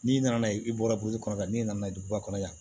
N'i nana i bɔra burusi kɔnɔ yan n'i nana duguba kɔnɔ yan